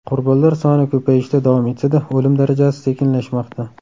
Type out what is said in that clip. Qurbonlar soni ko‘payishda davom etsa-da, o‘lim darajasi sekinlashmoqda.